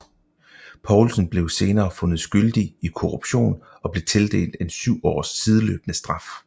Poulson blev senere fundet skyldig i korruption og blev tildelt en 7 års sideløbende straf